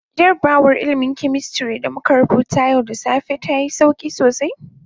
Jarrabawar ilmin "chemistry" da muka rubuta yau da safe ta yi sauki sosai.